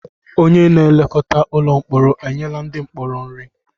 Onye na-elekọta ụlọ mkpọrọ enyela ndị mkpọrọ nri?